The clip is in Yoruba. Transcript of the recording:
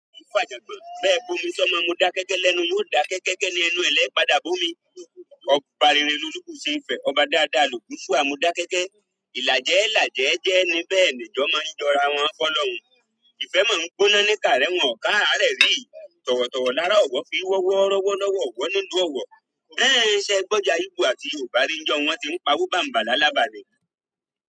Bẹ́ẹ̀ bo mi sọ́mọ, mo dá kéékèé lẹ́nu, mo dá kéékèékèé ni ẹnu ẹlẹ́padà bo mi. Ọba rere lórúkọṣe ìfẹ́, ọba dáadáa lògún fún àmùdákẹ́kẹ́. Ìlàjẹ́ lajẹ jẹ ẹni bẹ́ẹ̀ ni ijọ mọ jọra wọn f'ọlọrun. Ìfẹ́ máa ń gbóná ní kàárẹ̀ wọ́n kàárẹ̀ rí. Tọ̀wọ̀tọ̀wọ̀ lára ọ̀wọ́ fi ọwọ́ rọ́wọ́ lọ́wọ́, ọ̀wọ́ nínú ọ̀wọ́. Bẹ́ẹ̀ ni ṣẹ́ gbọ́ ìjà igbó àti Yorùbá ìnjọ́ wọn tí ń pawó bàǹbà la lába ni.